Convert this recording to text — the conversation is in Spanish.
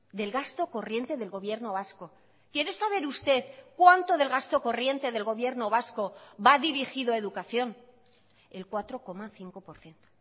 del gasto corriente del gobierno vasco quiere saber usted cuánto del gasto corriente del gobierno vasco va dirigido a educación el cuatro coma cinco por ciento